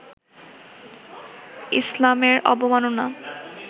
ইসলামের অবমাননা